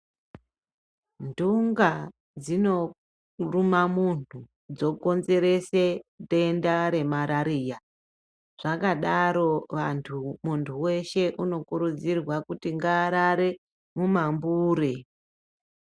Nthunga dzinoruma munthu, dzokonzerese denda remarariya, zvakadaro vanthu, munthu weshe unokurudzirwa kuti ngaarare mumambure.